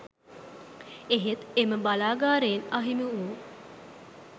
එහෙත් එම බලාගාරයෙන් අහිමි වූ